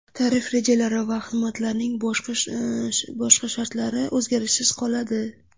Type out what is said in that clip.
Tarif rejalari va xizmatlarning boshqa barcha shartlari o‘zgarishsiz qoladi.